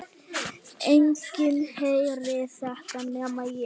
Enginn heyrir þetta nema ég.